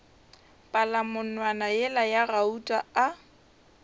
palamonwana yela ya gauta a